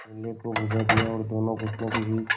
चूल्हे को बुझा दिया और दोनों घुटनों के बीच